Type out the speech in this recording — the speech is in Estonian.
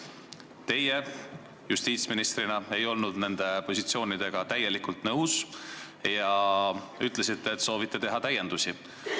Teie justiitsministrina ei olnud nende positsioonidega täielikult nõus ja ütlesite, et soovite teha täiendusi.